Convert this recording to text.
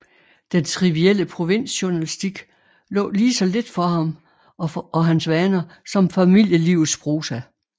Den trivielle provinsjournalistik lå lige så lidt for ham og hans vaner som familielivets prosa